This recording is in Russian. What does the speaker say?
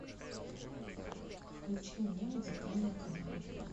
включи мне музыкальный канал